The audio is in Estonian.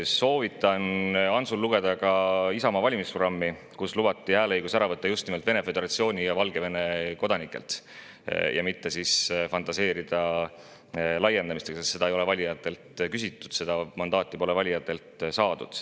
Soovitan Antsul lugeda ka Isamaa valimisprogrammi, kus lubati hääleõigus ära võtta just nimelt Vene föderatsiooni ja Valgevene kodanikelt, ja mitte fantaseerida selle äravõtmise laiendamise teemal, sest seda ei ole valijatelt küsitud, seda mandaati pole valijatelt saadud.